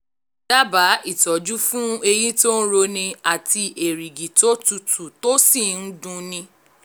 dábàá ìtọ́jú fún eyín tó ń roni àti erìgì tó tutù tó sì ń dun ni